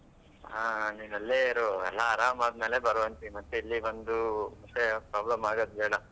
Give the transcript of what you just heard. ಹಾ ನೀನ್ ಅಲ್ಲೇ ಇರು ಎಲ್ಲಾ ಆರಾಮ್ ಆದ್ಮೇಲೆ ಬರ್ವಂತೆ ಮತ್ತೆ ಇಲ್ಲಿ ಬಂದು problem ಆಗದು ಬೇಡಾ.